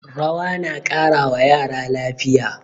Rawa na ƙara wa yara lafiya